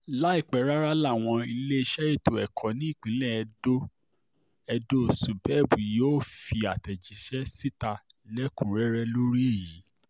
láìpẹ́ rárá làwọn iléeṣẹ́ ètò ẹ̀kọ́ nípínlẹ̀ edo edo subeb yóò fi àtẹ̀jáde síta lẹ́kùn-ún-rẹ́rẹ́ lórí èyí